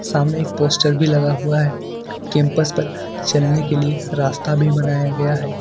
सामने एक पोस्टर भी लगा हुआ है कैंपस पर चलने के लिए रास्ता भी बनाया गया है।